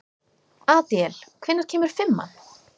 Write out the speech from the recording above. Adíel, hvenær kemur fimman?